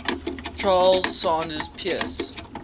charles sanders peirce